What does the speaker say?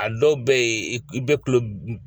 A dɔw bɛ yen i bɛ kulo